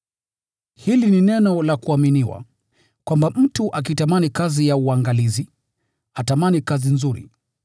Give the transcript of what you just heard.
Hili ni neno la kuaminiwa, kwamba mtu akitamani kazi ya uangalizi, atamani kazi nzuri.